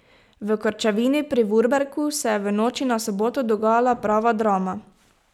V Krčevini pri Vurbergu se je v noči na soboto dogajala prava drama.